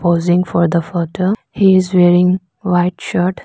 posing for the photo he is wearing white shirt.